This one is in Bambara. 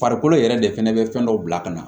Farikolo yɛrɛ de fɛnɛ bɛ fɛn dɔw bila ka na